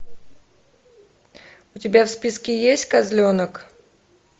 у тебя в списке есть козленок